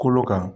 Kolo kan